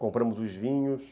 Compramos os vinhos.